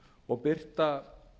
og birta